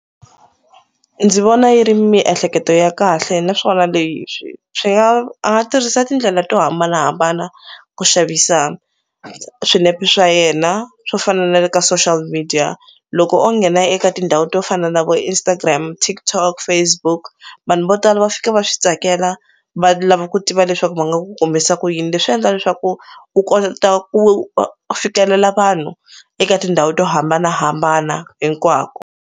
Ndzi vona yi ri miehleketo ya kahle naswona leswi swi nga a nga tirhisa tindlela to hambanahambana ku xavisa swinepe swa yena swo fana na le ka social media loko o nghena eka tindhawu to fana na vo Instagram TikTok Facebook vanhu vo tala va fika va switsakela va lava ku tiva leswaku va nga ku kumisa ku yini leswi endla leswaku u kota ku fikelela vanhu eka tindhawu to hambanahambana hinkwako.